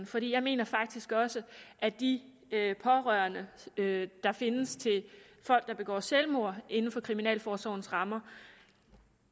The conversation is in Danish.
for jeg mener faktisk også at de pårørende der findes til folk der begår selvmord inden for kriminalforsorgens rammer